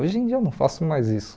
Hoje em dia eu não faço mais isso.